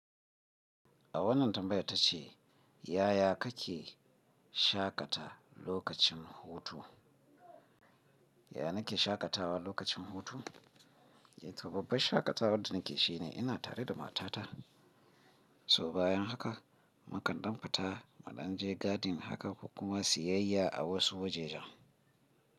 A wannan tambayar ta ce, yaya kake shaƙata lokacin hutu? Yana ke shaƙatawa lokacin hutu? Toh babbar shaƙatawar da nake shi ne ina tare da matata. Toh bayan haka, mu kan ɗan fata, mu ɗan je gadin haka ko kuma siyayya a wasu wajajen.